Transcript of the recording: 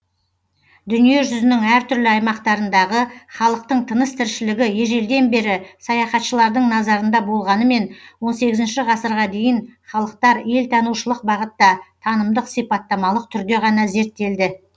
дүниежүзінің әр түрлі аймақтарындағы халықтың тыныс тіршілігі ежелден бері саяхатшылардың назарында болғанымен он сегізінші ғасырға дейін халықтар елтанушылық бағытта танымдық сипаттамалық түрде ғана зерттелді